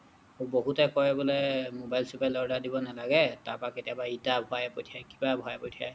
বহুতে কয় বোলে মবাইল চোবাইল order দিব নালাগে তাৰ পৰা কেতিয়াবা ইটা ভৰাই পঠিয়াই কিবা ভৰাই পঠিয়াই